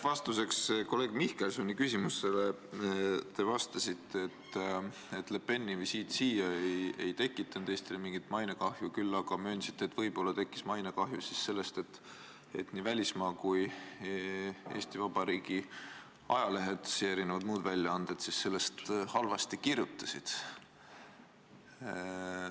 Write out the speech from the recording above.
Vastuseks kolleeg Mihkelsoni küsimusele te vastasite, et Le Peni visiit siia ei tekitanud Eestile mingit mainekahju, küll aga möönsite, et võib-olla tekkis mainekahju sellest, et nii välismaa kui ka Eesti Vabariigi ajalehed ja muud väljaanded sellest halvasti kirjutasid.